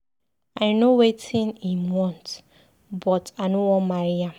I know wetin im want but I no wan marry am.